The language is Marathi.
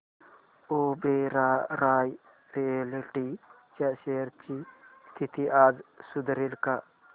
ओबेरॉय रियाल्टी च्या शेअर्स ची स्थिती आज सुधारेल का